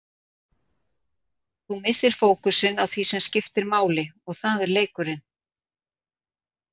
Þú missir fókusinn á því sem skiptir máli og það er leikurinn.